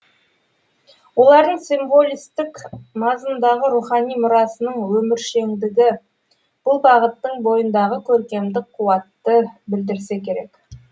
олардың символистік мазмұндағы рухани мұрасының өміршеңдігі бұл бағыттың бойындағы көркемдік қуатты білдірсе керек